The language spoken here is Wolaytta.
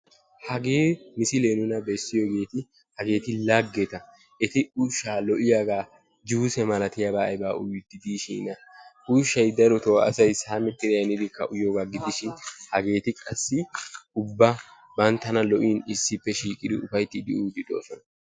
Hagee misilee nuna bessiyogeeti hageeti laggeta. Eti ushshaa lo'iyagaa juuse malatiyabata aybaa uyiiddi diishiina ushshayi darotoo asayi saamettidi ayi hanidi uyiyogaa gidishin hageeti qassi ubba banttanA lo'in issippe shiiqidi uayttiiddi uyiiddi de'oosona.